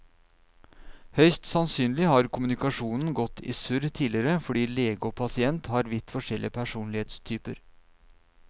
Høyst sannsynlig har kommunikasjonen gått i surr tidligere fordi lege og pasient har vidt forskjellig personlighetstyper.